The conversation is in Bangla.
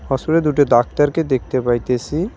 হসপিটালে দুটো ডাক্তারকে দেখতে পাইতেসি।